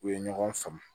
U ye ɲɔgɔn faamu